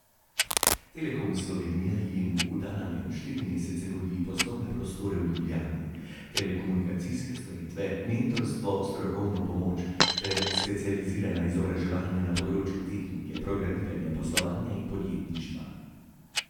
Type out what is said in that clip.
Telekom Slovenije jim v ta namen štiri mesece nudi poslovne prostore v Ljubljani, telekomunikacijske storitve, mentorstvo, strokovno pomoč ter specializirana izobraževanja na področjih tehnike, programiranja, poslovanja in podjetništva.